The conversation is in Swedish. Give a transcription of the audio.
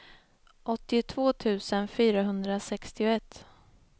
åttiotvå tusen fyrahundrasextioett